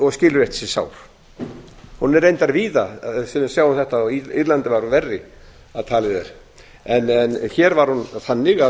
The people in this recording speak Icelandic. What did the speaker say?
og skilur eftir sig sár hún er reyndar víða sem við sjáum þetta og írland var á verði að talið er en hér var hún þannig að